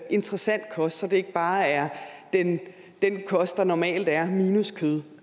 interessant kost så det ikke bare er den kost der normalt er minus kød